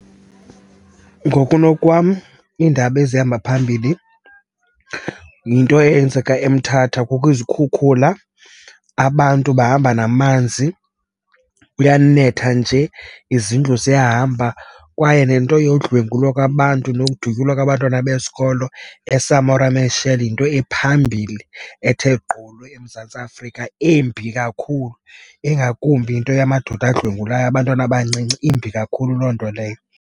Ngokunokwam iindaba ezihamba phambili yinto eyenzeka eMthatha. Kukho izikhukhula, abantu bahamba namanzi, kuyanetha nje, izindlu ziyahamba. Kwaye nento yodlwengulwa kwabantu nokudutyulwa kwabantwana besikolo eSamora Machel yinto ephambili ethe gqolo eMzantsi Afrika, embi kakhulu. Ingakumbi into yamadoda adlwengula abantwana abancinci, imbi kakhulu loo nto leyo.